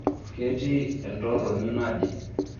ketii entorroni naje